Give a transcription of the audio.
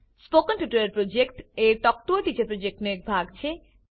spoken tutorial project a talk to a teacher પ્રોજેક્ટનો એક ભાગ છે